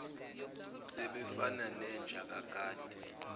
sebefana nenja nekati